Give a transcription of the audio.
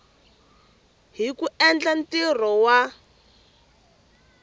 hi ku endla ntirho wa